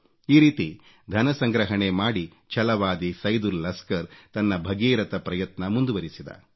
ಈ ರೀತಿ ಧನ ಸಂಗ್ರಹಣೆ ಮಾಡಿ ಛಲವಾದಿ ಸೈದುಲ್ ಲಸ್ಕರ್ ತನ್ನ ಭಗೀರಥ ಪ್ರಯತ್ನ ಮುಂದುವರೆಸಿದ